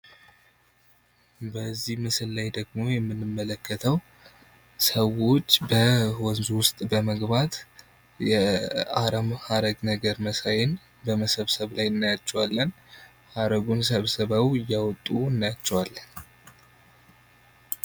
በዚህ ምስል ላይ ደግሞ የምንመለከተው ሰዎች ወንዙ ውስጥ በመግባት የአረም ሐረግ ነገር መሳይን በመሰብሰብ ላይ እናያቸዋለን ።ሐረጉን ሰብስበው እያወጡ እናያችዋለን።